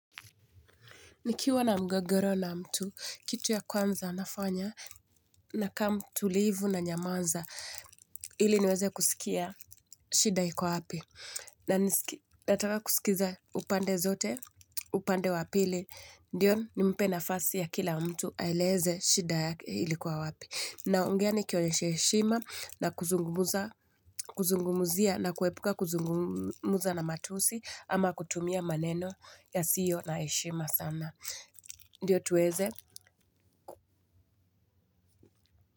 Nikiwa na mgogoro na mtu, kitu ya kwanza nafanya nakaamtulivu nanyamaza ili niweze kusikia shida iko wapi. Na nataka kusikiza upande zote, upande wapili, ndiyo nimpe nafasi ya kila mtu aeleze shida yake ilikuwa wapi. Naongea nikionyesha heshima na kuzungumzia na kuepuka kuzungumza na matusi ama kutumia maneno yasiyo na heshima sana. Ndio tuweze.